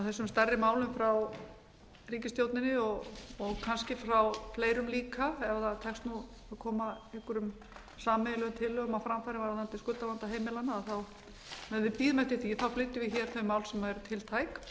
þessum stærri málum frá ríkisstjórninni og kannski fleirum líka ef tekst að koma einhverjum sameiginlegum tillögum á framfæri varðandi skuldavanda heimilanna meðan við bíðum eftir því flytjum við þau mál sem eru tiltæk